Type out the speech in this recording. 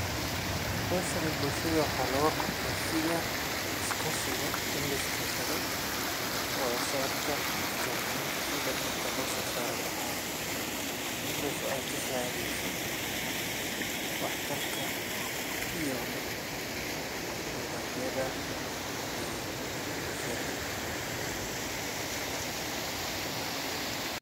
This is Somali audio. Hawshani bulsahda waxaa loogaqabta sidha iskaashiga in liskaashado wadasocodka iyo iskawahaynta sidha dirta lososari laxa. midas o ey kasacideso waxtarka iyo nidhaamyadha e bulshada.